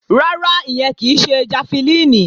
Rárá, ìyẹn kì í ṣe jafẹlíìnì